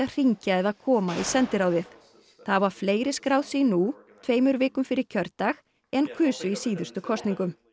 hringja eða koma í sendiráðið það hafa fleiri skráð sig nú tveimur vikum fyrir kjördag en kusu í síðustu kosningum